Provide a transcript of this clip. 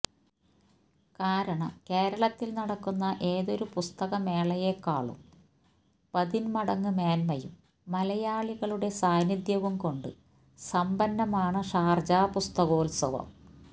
കാരണം കേരളത്തിൽ നടക്കുന്ന ഏതൊരു പുസ്തക മേളയേക്കാളും പതിന്മടങ്ങ് മേന്മയും മലയാളികളുടെ സാന്നിധ്യവും കൊണ്ട് സമ്പന്നമാണ് ഷാർജ പുസ്തകോത്സവം